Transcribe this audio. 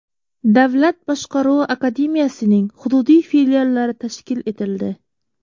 Davlat boshqaruvi akademiyasining hududiy filiallari tashkil etildi.